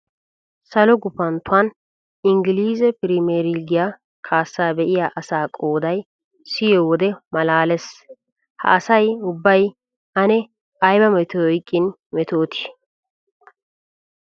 Salo gufanttuwan inggilize piriimiyer liigiya kaassaa be'iya asaa qoodaa siyiyo wode maalaalees. Ha asay ubbay ane ayba metoy oyqqin metootii!